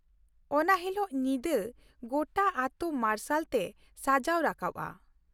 ᱚᱱᱟ ᱦᱤᱞᱳᱜ ᱧᱤᱫᱟᱹ ᱜᱚᱴᱟ ᱟᱹᱛᱩ ᱢᱟᱨᱥᱟᱞ ᱛᱮ ᱥᱟᱡᱟᱣ ᱨᱟᱠᱟᱵᱼᱟ ᱾